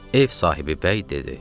Ev sahibi bəy dedi: